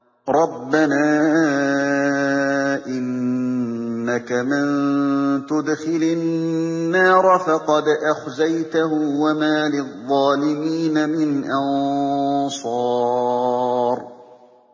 رَبَّنَا إِنَّكَ مَن تُدْخِلِ النَّارَ فَقَدْ أَخْزَيْتَهُ ۖ وَمَا لِلظَّالِمِينَ مِنْ أَنصَارٍ